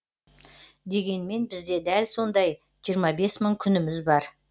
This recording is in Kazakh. дегенмен бізде дәл сондай жиырма бес мың күніміз бар